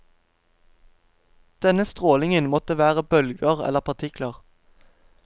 Denne strålingen måtte være bølger eller partikler.